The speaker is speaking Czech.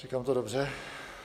říkám to dobře?